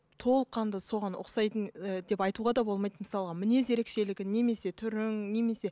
толыққанды соған ұқсайтын ы деп айтуға да болмайды мысалға мінез ерекшелігің немесе түрің немесе